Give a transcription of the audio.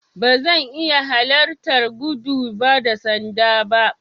Ba zan iya halarta gudun ba da sanda ba.